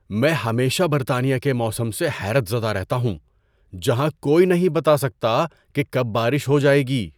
میں ہمیشہ برطانیہ کے موسم سے حیرت زدہ رہتا ہوں جہاں کوئی نہیں بتا سکتا کہ کب بارش ہو جائے گی۔